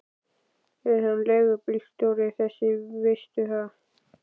Er hann leigubílstjóri þessi, veistu það?